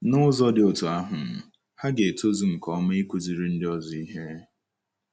N’ụzọ dị otú ahụ, ha ga-etozu nke ọma ịkụziri ndị ọzọ ihe. ”